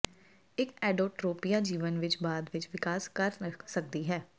ਇੱਕ ਐਡੋਟ੍ਰੋਪੀਆ ਜੀਵਨ ਵਿੱਚ ਬਾਅਦ ਵਿੱਚ ਵਿਕਾਸ ਕਰ ਸਕਦੀ ਹੈ